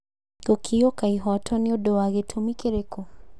Gũkĩũka ihoto nĩũndũ wa gĩtũmi kĩrĩkũ